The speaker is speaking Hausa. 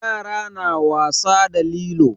Yara na wasa da lilo.